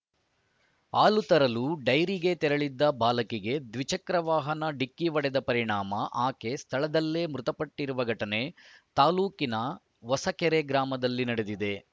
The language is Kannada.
ಹಾಲು ತರಲು ಡೈರಿಗೆ ತೆರಳಿದ್ದ ಬಾಲಕಿಗೆ ದ್ವಿಚಕ್ರ ವಾಹನ ಡಿಕ್ಕಿ ಹೊಡೆದ ಪರಿಣಾಮ ಆಕೆ ಸ್ಥಳದಲ್ಲೇ ಮೃತಪಟ್ಟಿರುವ ಘಟನೆ ತಾಲ್ಲೂಕಿನ ಹೊಸಕೆರೆ ಗ್ರಾಮದಲ್ಲಿ ನಡೆದಿದೆ